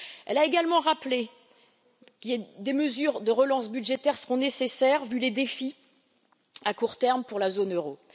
Mme Lagarde a également rappelé que des mesures de relance budgétaire seront nécessaires, vu les défis à court terme pour la zone euro.